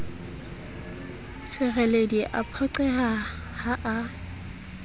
sereledi a phoqeha ha a